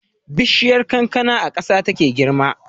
Bishiyar kankana a ƙasa take girma